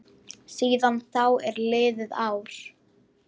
Síðan þá er liðið ár.